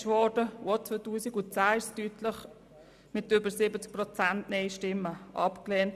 Auch 2010 wurde es deutlich mit über 70 Prozent Nein-Stimmen abgelehnt.